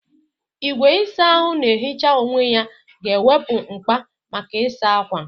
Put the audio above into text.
Igwe ịsa ahụ na-ehicha onwe ya ga-ewepụ mkpa maka ịsa ákwà.